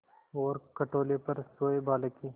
और खटोले पर सोए बालक की